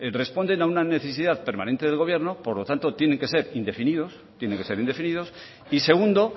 responden a una necesidad permanente del gobierno por lo tanto tienen que ser indefinidos y segundo